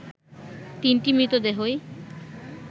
তিনটি মৃতদেহই